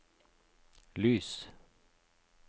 lys